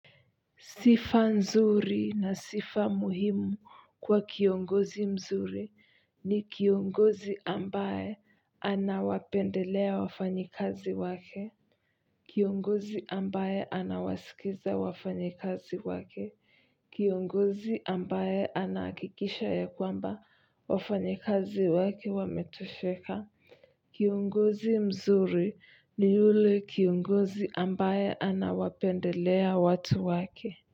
Sifa nzuri na sifa muhimu kwa kiongozi mzuri ni kiongozi ambaye anawapendelea wafanyikazi wake. Kiongozi ambaye anawasikiza wafanyikazi wake. Kiongozi ambaye anahakikisha ya kwamba wafanyikazi wake wametosheka. Kiongozi mzuri ni yule kiongozi ambaye anawapendelea watu wake.